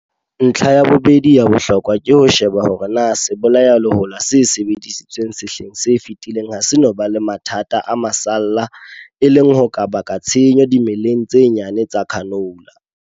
Ntlha ya bobedi ya bohlokwa ke ho sheba hore na sebolayalehola se sebedisitsweng sehleng se fetileng ha se no ba le mathata a masalla, e leng ho ka bakang tshenyo dimeleng tse nyane tsa canola.